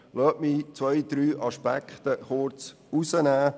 Lassen Sie mich zwei, drei Aspekte herausgreifen.